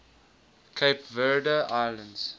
cape verde islands